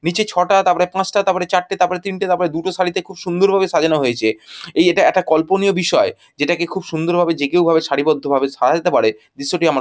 নিচে ছটা তারপরে পাঁচটা তারপরে চারটে তারপরে তিনটে তারপরে দুটো শাড়িতে খুব সুন্দর ভাবে সাজানো হয়েছে এই এটা একা কল্পনীয় বিষয় যেটাকে খুব সুন্দর ভাবে যেকেউ ভাবে সারিবদ্ধভাবে সাজাতে পারে দৃশ্যটি আমার--